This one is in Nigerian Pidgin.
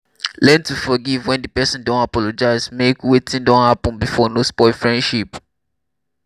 learn to forgive when di person don apologize make wetin don happen before no spoil friendship